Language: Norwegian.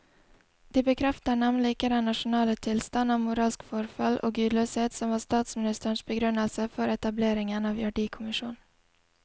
De bekrefter nemlig ikke den nasjonale tilstand av moralsk forfall og gudløshet som var statsministerens begrunnelse for etableringen av verdikommisjonen.